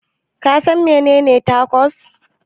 Kasan menene Tacos?